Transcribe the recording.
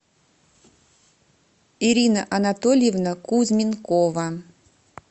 ирина анатольевна кузьменкова